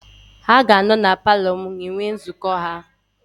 Ha ga-anọ na paalọ m enwe nzukọ ha.